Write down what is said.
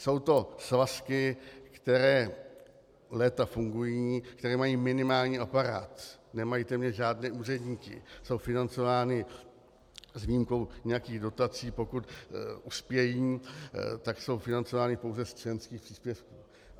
Jsou to svazky, které léta fungují, které mají minimální aparát, nemají téměř žádné úředníky, jsou financovány, s výjimkou nějakých dotací, pokud uspějí, tak jsou financovány pouze z členských příspěvků.